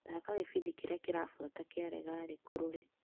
Thaka gĩbindi kĩrĩa kĩrabuata gĩa legalĩ kulule.